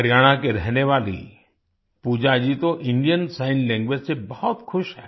हरियाणा की रहने वाली पूजा जी तो इंडियन सिग्न लैंग्वेज से बहुत खुश हैं